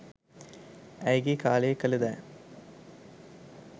ඇයගේ කාලයේ කල දෑ